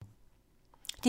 DR P2